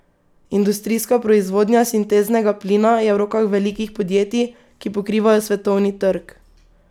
Industrijska proizvodnja sinteznega plina je v rokah velikih podjetij, ki pokrivajo svetovni trg.